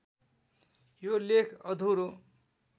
यो लेख अधुरो